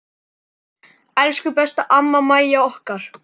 Elsku besta amma Mæja okkar.